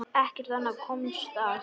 Ekkert annað komst að.